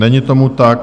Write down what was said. Není tomu tak.